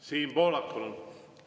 Siim Pohlak, palun!